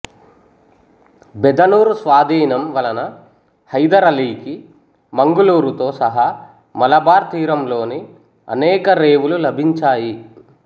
బెదనూర్ స్వాధీనం వలన హైదర్ ఆలీకి మంగుళూరుతో సహా మలబార్ తీరంలోని అనేక రేవులు లభించాయి